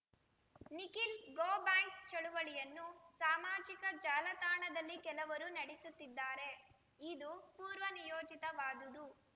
Nikhil go back ಚಳುವಳಿಯನ್ನು ಸಾಮಾಜಿಕ ಜಾಲತಾಣದಲ್ಲಿ ಕೆಲವರು ನಡೆಸುತ್ತಿದ್ದಾರೆ ಇದು ಪೂರ್ವನಿಯೋಜಿತವಾದುದು